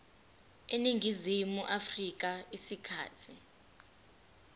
eningizimu afrika isikhathi